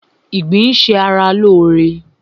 Ìgbín ń ṣa ra lóóre